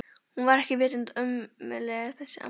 Hún var ekki vitund ömmuleg þessi amma.